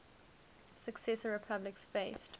successor republics faced